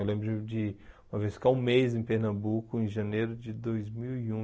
Eu lembro de de uma vez ficar um mês em Pernambuco, em janeiro de dois mil e um,